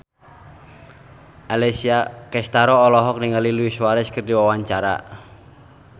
Alessia Cestaro olohok ningali Luis Suarez keur diwawancara